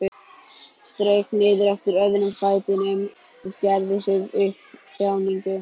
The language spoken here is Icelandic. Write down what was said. Strauk niður eftir öðrum fætinum og gerði sér upp þjáningu.